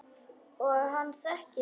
Og hann þekkir mig.